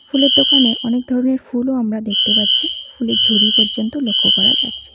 ফুলের দোকানে অনেক ধরনের ফুলও আমরা দেখতে পাচ্ছি ফুলের ঝুড়ি পর্যন্ত লক্ষ করা যাচ্ছে।